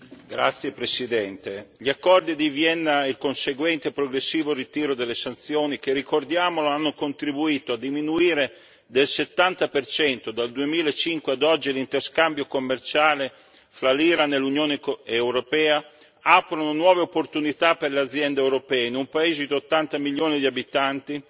Signora Presidente, onorevoli colleghi, gli accordi di Vienna e il conseguente e progressivo ritiro delle sanzioni che, ricordiamolo, hanno contribuito a diminuire del 70 dal 2005 ad oggi, l'interscambio commerciale fra l'Iran e l'Unione europea, aprono nuove opportunità per le aziende europee in un paese di 80 milioni di abitanti,